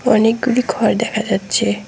অনেকগুলি ঘর দেখা যাচ্ছে।